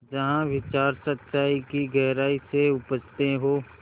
जहाँ विचार सच्चाई की गहराई से उपजतें हों